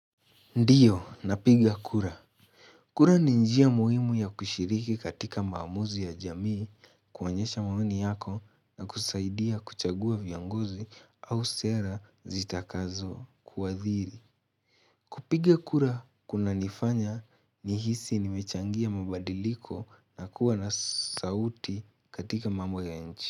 Ndiyo, napiga kura. Kura ni njia muhimu ya kushiriki katika maamuzi ya jamii kuonyesha maoni yako na kusaidia kuchagua viongozi au sera zitakazo kuwaathiri. Kupiga kura, kunanifanya nihisi nimechangia mabadiliko na kuwa na sauti katika mambo ya nchi.